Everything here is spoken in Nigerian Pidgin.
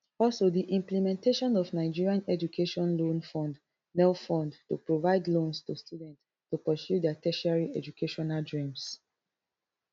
also di implementation of nigerian education loan fund nelfund to provide loans to students to pursue their tertiary educational dreams